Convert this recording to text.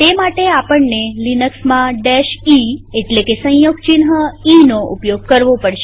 તે માટે આપણને લિનક્સમાં eસંયોગ ચિહ્ન ઈનો ઉપયોગ કરવો પડશે